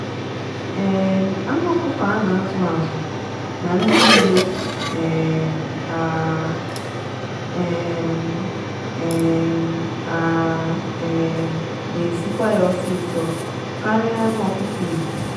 um anụ ọkụkọ a na azụ azụ na dị nlo um a um um a um na esikwa ya ọsịsọ karịa anụ ọkụkọ igbo.